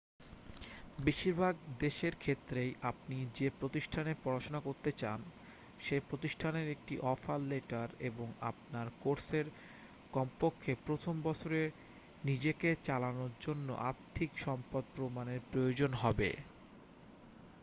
বেশিরভাগ দেশের ক্ষেত্রেই আপনি যে প্রতিষ্ঠানে পড়াশোনা করতে চান সে প্রতিষ্ঠানের একটি অফার লেটার এবং আপনার কোর্সের কমপক্ষে প্রথম বছরে নিজেকে চালানোর জন্য আর্থিক সম্পদ প্রমাণের প্রয়োজন হবে